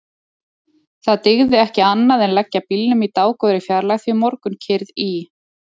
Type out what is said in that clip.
Það dygði ekki annað en leggja bílnum í dágóðri fjarlægð því morgunkyrrð í